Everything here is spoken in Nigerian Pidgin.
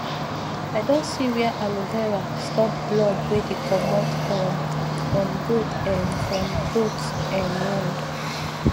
i don see were aloe vera stop blood wey dey commot um from goat um from goat um wound